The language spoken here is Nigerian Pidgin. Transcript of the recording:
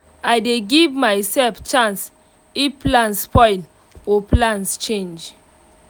i dey give myself chance if plan spoil or plans change